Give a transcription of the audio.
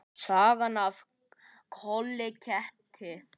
Sagan af Kolla ketti.